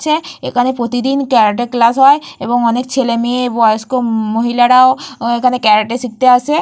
ছে এখানে প্রতিদিন ক্যারাটে ক্লাস হয় এবং অনেক ছেলে মেয়ে বয়স্ক ম-হিলারাও এখানে ক্যারাটে শিখতে আসে।